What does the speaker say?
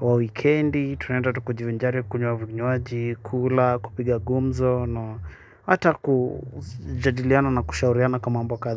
wa wikendi tuende tujivinjari kunywa viywaji kula kupiga gumzo na hata kujadiliana na kushauriana kwa mambo kadhaa.